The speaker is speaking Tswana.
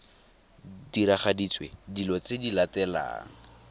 diragaditswe dilo tse di latelang